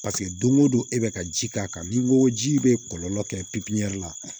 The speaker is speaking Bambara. paseke don ko don e bɛ ka ji k'a kan n'i ko ji bɛ kɔlɔlɔ kɛ pipiniyɛri la